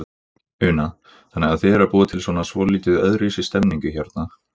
Una: Þannig að þið eruð að búa til svona svolítið öðruvísi stemningu hérna?